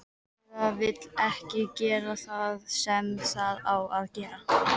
Eða vill ekki gera það sem það á að gera.